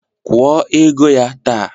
Kwuo ego ya taa!